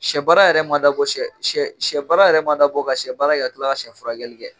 Sɛ baara yɛrɛ ma dabɔ sɛ sɛ sɛ baara yɛrɛ ma dabɔ ka sɛ baara kɛ ka tila ka sen furakɛli kɛ.